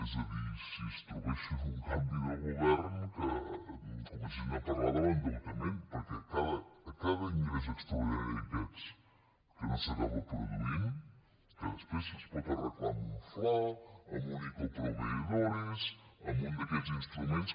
és a dir si es trobessin un canvi de govern que comencessin a par·lar de l’endeutament perquè a cada ingrés extraordi·nari d’aquests que no s’acaba produint que després es pot arreglar amb un fla amb un ico a proveedoresamb un d’aquests instruments